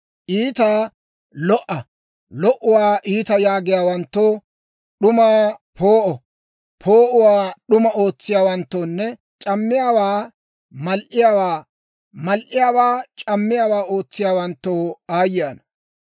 Iitaa lo"a lo"uwaa iita yaagiyaawanttoo, d'umaa poo'o poo'uwaa d'uma ootsiyaawanttoonne c'ammiyaawa mal"iyaawaa mal"iyaawaa c'ammiyaawa ootsiyaawanttoo aayye ana!